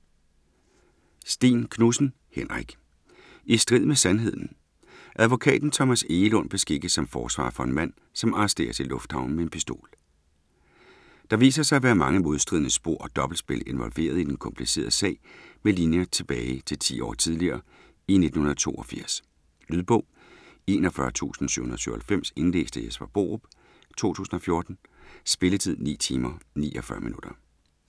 Sten-Knudsen, Henrik: I strid med sandheden Advokaten Thomas Egelund beskikkes som forsvarer for en mand, som arresteres i lufthavnen med en pistol. Der viser sig at være mange modstridende spor og dobbeltspil involveret i den komplicerede sag med linjer tilbage til 10 år tidligere i 1982. Lydbog 41797 Indlæst af Jesper Borup, 2014. Spilletid: 9 timer, 49 minutter.